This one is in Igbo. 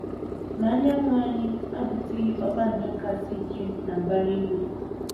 Ma, anyanwụ anyị abụtụghị kpakpando kasị ike na mbara igwe.